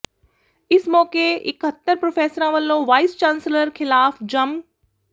ਇਸ ਮੌਕੇ ਇੱਕਤਰ ਪ੍ਰਰੋਫ਼ੈਸਰਾਂ ਵਲੋਂ ਵਾਇਸ ਚਾਂਸਲਰ ਖਿਲਾਫ਼ ਜੰਮ ਕ